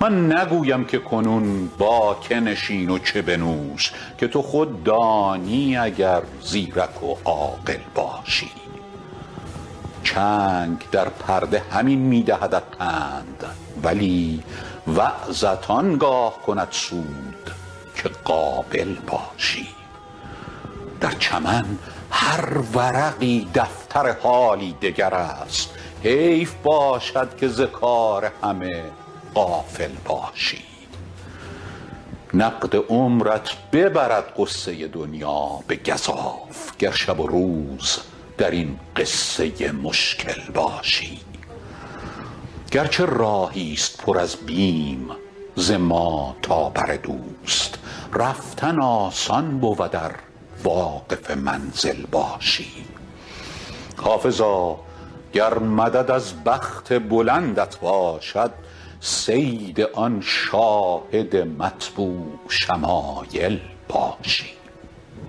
من نگویم که کنون با که نشین و چه بنوش که تو خود دانی اگر زیرک و عاقل باشی چنگ در پرده همین می دهدت پند ولی وعظت آن گاه کند سود که قابل باشی در چمن هر ورقی دفتر حالی دگر است حیف باشد که ز کار همه غافل باشی نقد عمرت ببرد غصه دنیا به گزاف گر شب و روز در این قصه مشکل باشی گر چه راهی ست پر از بیم ز ما تا بر دوست رفتن آسان بود ار واقف منزل باشی حافظا گر مدد از بخت بلندت باشد صید آن شاهد مطبوع شمایل باشی